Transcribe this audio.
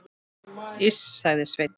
Iss, sagði Sveinn.